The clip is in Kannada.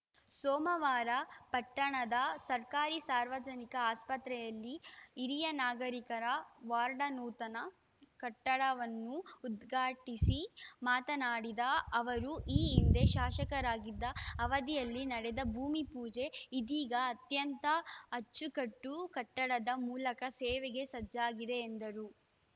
ಸೋಮವಾರ ಪಟ್ಟಣದ ಸರ್ಕಾರಿ ಸಾರ್ವಜನಿಕ ಆಸ್ಪತ್ರೆಯಲ್ಲಿ ಹಿರಿಯ ನಾಗರಿಕರ ವಾರ್ಡ ನೂತನ ಕಟ್ಟಡವನ್ನು ಉದ್ಘಾಟಿಸಿ ಮಾತನಾಡಿದ ಅವರು ಈ ಹಿಂದೆ ಶಾಸಕರಾಗಿದ್ದ ಅವಧಿಯಲ್ಲಿ ನಡೆದ ಭೂಮಿಪೂಜೆ ಇದೀಗ ಅತ್ಯಂತ ಅಚ್ಚುಕಟ್ಟು ಕಟ್ಟಡದ ಮೂಲಕ ಸೇವೆಗೆ ಸಜ್ಜಾಗಿದೆ ಎಂದರು